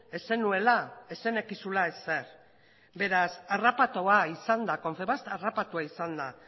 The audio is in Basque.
ez zenuela ez zenekizula ezer beraz harrapatua izan da confebask harrapatua izan da